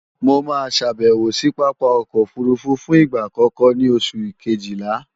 Mo máa ṣàbèwò sí Pápá ọkọ̀ òfurufú fún ìgbà àkọ́kọ́ ní oṣù kejìlá